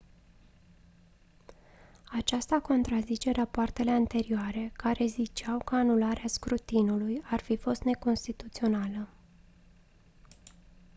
aceasta contrazice rapoartele anterioare care ziceau că anularea scrutinului ar fi fost neconstituțională